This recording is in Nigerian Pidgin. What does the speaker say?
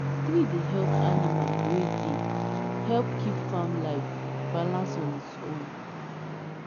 tree dey help animal wey dey help keep farm life balance on its own.